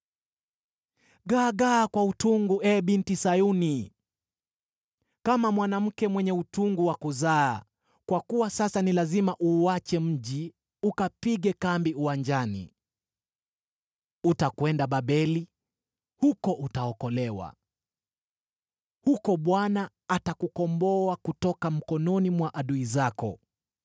Gaagaa kwa utungu, ee Binti Sayuni, kama mwanamke mwenye utungu wa kuzaa, kwa kuwa sasa ni lazima uuache mji ukapige kambi uwanjani. Utakwenda Babeli; huko utaokolewa. Huko Bwana atakukomboa kutoka mikononi mwa adui zako.